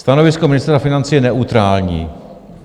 Stanovisko Ministerstva financí je neutrální.